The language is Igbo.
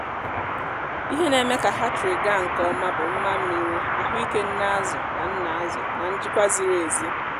ihe na-eme ka hatchery gaa nke ọma bụ mma mmiri ahụ ike nne azụ na nna ázụ na njikwa ziri ezi.